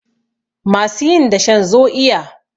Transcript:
masu yin dashen zo iya!